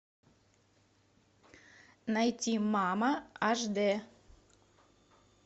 найти мама аш дэ